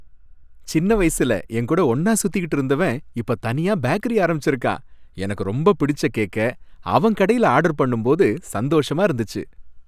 சின்ன வயசுல என் கூட ஒன்னா சுத்திக்கிட்டு இருந்தவன் இப்ப தனியா பேக்கரி ஆரம்பிச்சிருக்கான். எனக்கு ரொம்ப பிடிச்ச கேக்க அவன் கடையில ஆர்டர் பண்ணும் போது சந்தோஷமா இருந்துச்சு.